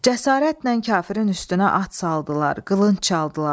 Cəsarətlə kafirin üstünə at saldılar, qılınc çaldılar.